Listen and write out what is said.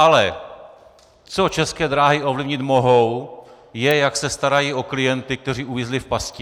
Ale co České dráhy ovlivnit mohou, je, jak se starají o klienty, kteří uvízli v pasti.